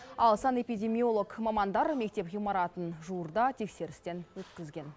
ал санэпидемиолог мамандар мектеп ғимаратын жуырда тексерістен өткізген